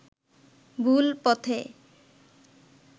ভুল পথে